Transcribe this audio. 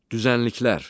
Düzənliklər.